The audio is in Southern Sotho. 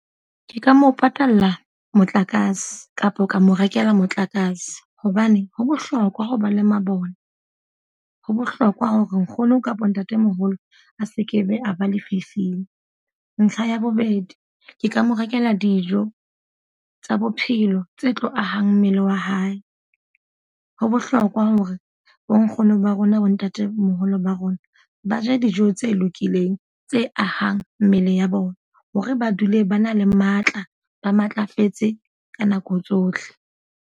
Ke ka mo patalla motlakase kapa o ka mo rekela motlakase. Hobane ho bohlokwa ho ba le mabone. Ho bohlokwa hore nkgono kapa ntatemoholo a sekebe a ba lefifing. Ntlha ya bobedi, ke ka mo rekela dijo tsa bophelo tse tlo ahang mmele wa hae. Ho bohlokwa hore bo nkgono ba rona bo ntatemoholo ba rona, ba je dijo tse lokileng, tse ahang mmele ya bona. Hore ba dule ba na le matla, ba matlafetse ka nako tsohle.